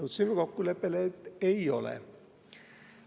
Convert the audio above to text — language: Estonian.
Jõudsime kokkuleppele, et ei ole.